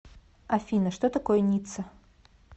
афина что такое ницца